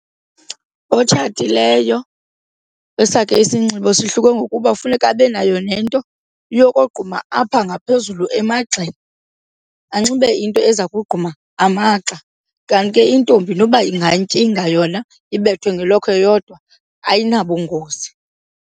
Otshatileyo esakhe isinxibo sihluke ngokuba funeka abe nayo nento yokogquma apha ngaphezulu emagxeni, anxibe into eza kogquma amagxa. Kanti ke intombi noba ingantyinga yona ibethe ngelokhwe yodwa ayinabungozi.